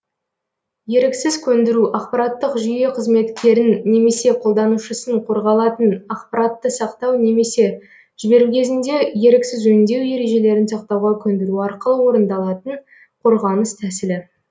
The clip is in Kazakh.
еріксіз көндіру ақпараттық жүйе қызметкерін немесе қолданушысын қорғалатын ақпаратты сақтау немесе жіберу кезінде еріксіз өңдеу ережелерін сақтауға көндіру арқылы орындалатын қорғаныс тәсілі